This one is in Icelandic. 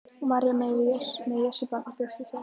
María mey með Jesúbarnið við brjóst sér.